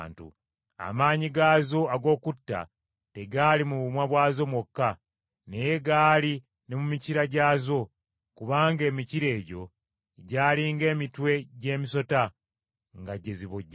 Amaanyi gaazo ag’okutta tegaali mu bumwa bwazo mwokka, naye gaali ne mu mikira gyazo, kubanga emikira egyo gyali ng’emitwe gy’emisota, nga gye zibojjesa.